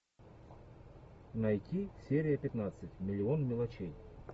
найти серия пятнадцать миллион мелочей